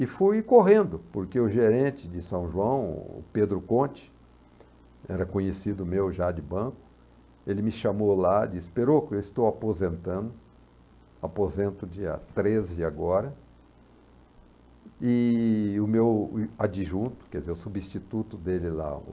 E fui correndo, porque o gerente de São João, Pedro Conte, era conhecido meu já de banco, ele me chamou lá e disse, Perocco, eu estou aposentando, aposento dia treze agora, e o meu adjunto, quer dizer, o substituto dele lá, o